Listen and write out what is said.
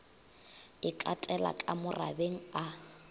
e katela ka morabeng a